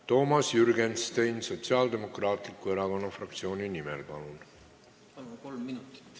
Toomas Jürgenstein Sotsiaaldemokraatliku Erakonna fraktsiooni nimel, palun!